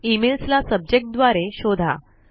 emails ला subject द्वारे शोधा